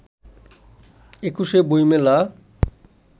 একুশে বইমেলা